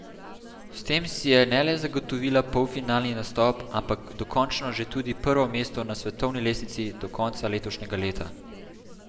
S tem si je ne le zagotovila polfinalni nastop, ampak dokončno že tudi prvo mesto na svetovni lestvici do konca letošnjega leta.